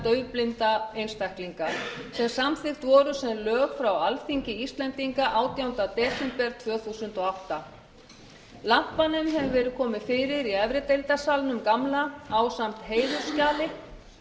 og daufblinda einstaklinga sem samþykkt voru sem lög frá alþingi íslendinga átjánda desember tvö þúsund og átta lampanum hefur verið komið fyrir í efrideildarsalnum gamla ásamt heiðursskjali